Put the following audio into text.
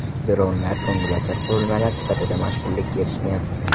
Dronlar ko‘ngilochar qurilmalar sifatida mashhurlikka erishgan.